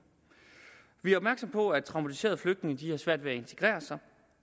vi er opmærksomme på at traumatiserede flygtninge har svært ved at integrere sig